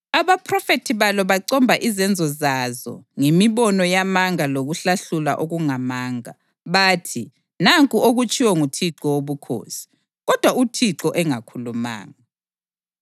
Abaphrofethi balo bacomba izenzo zazo ngemibono yamanga lokuhlahlula okungamanga. Bathi, ‘Nanku okutshiwo nguThixo Wobukhosi’ kodwa uThixo engakhulumanga.